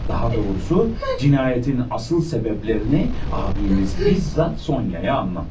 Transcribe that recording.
Daha doğrusu, cinayetin asıl sebeblerini abiniz bizzat Sonyaya anlattı.